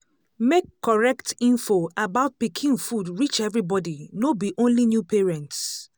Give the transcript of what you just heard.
make correct info about pikin food reach everybody no be only new parents.